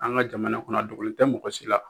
An ka jamana kɔnɔ a dogolen tɛ mɔgɔ si la,